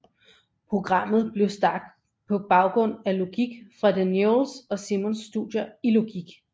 Programmet blev skabt på baggrund af de Newells og Simons studier i logik